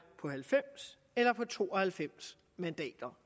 på halvfems eller på to og halvfems mandater